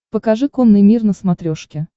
покажи конный мир на смотрешке